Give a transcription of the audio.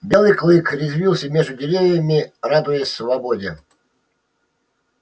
белый клык резвился между деревьями радуясь свободе